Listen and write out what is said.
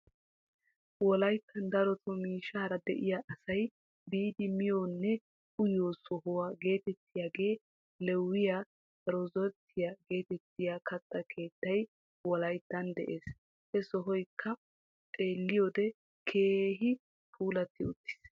Wolayttan darotoo miishshaara de'iyaa asay biidi miyiyoonne uyiyoo sohuwaa getettiyaagee lewiyaa rezorttiyaa getettiyaa kaatta keettay wolayttan de'ees. He sohoykka xeelliyoode keehi puulatti uttiis.